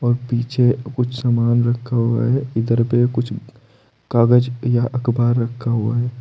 पीछे कुछ सामान रखा हुआ है इधर पे कुछ कागज या अखबार रखा हुआ है।